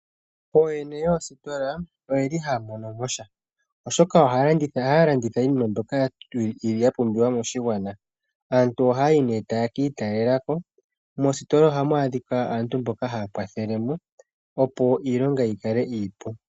Oomwene yoositola oyeli haya mono mo sha oshoka, ohaya landitha iinima mbyoka ya pumbiwa moshigwana, aantu ohaya yi nee taye kiitalelako. Mositola ohamu adhika aantu mboka haya kwathele mo opo iilonga yi kale iipu.